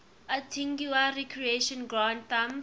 antigua recreation ground thumb